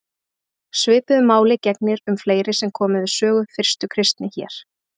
Svipuðu máli gegnir um fleiri sem komu við sögu fyrstu kristni hér.